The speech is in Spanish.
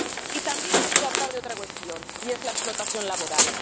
Y también hay que hablar de otra cuestión, y es la explotación laboral.